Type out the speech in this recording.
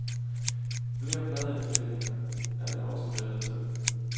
Flere pladeindspilninger er det også blevet til.